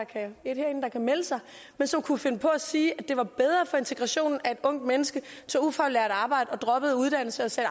er et herinde der kan melde sig som kunne finde på at sige at det var bedre for integrationen at et ungt menneske tog ufaglært arbejde droppede uddannelse og sagde